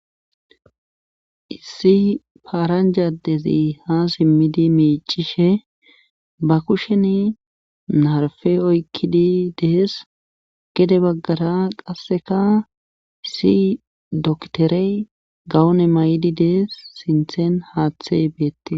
Issi paranja adezi ha simmidi miiccishe ba kusheni narfe oykkidi dees gede baggara qassikka issi doktere gawume mayidi dees sinthen haathey beettes.